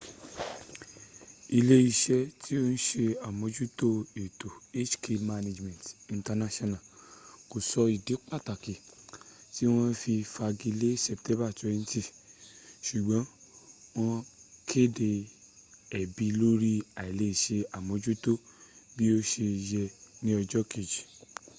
ile ise ti o n se amojuto eto hk management inc ko so idi pataki ti won fi fagi le september 20 sugbon won kede ebi lori ailese amojuto bi o se ye ni ojo keji